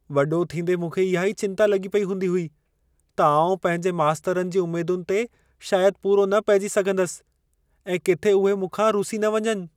वॾो थींदे मूंखे इहा ई चिंता लॻी पेई हूंदी हुई, त आउं पंहिंजे मास्तरनि जी उमेदुनि ते शायदि पूरो न पहिजी सघंदसि ऐं किथे उहे मूंखां रुसी न वञनि।